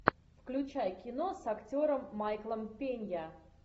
включай кино с актером майклом пенья